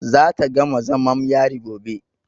Za ta gama zamam yari gobe.